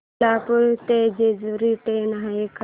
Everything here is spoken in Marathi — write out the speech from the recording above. कोल्हापूर ते जेजुरी ट्रेन आहे का